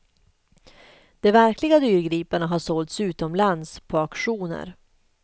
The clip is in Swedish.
De verkliga dyrgriparna har sålts utomlands på auktioner.